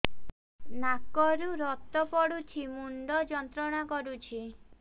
ନାକ ରୁ ରକ୍ତ ପଡ଼ୁଛି ମୁଣ୍ଡ ଯନ୍ତ୍ରଣା କରୁଛି